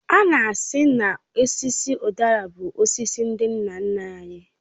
Ana asị na osisi udara bụ osisi ndị nna nna anyị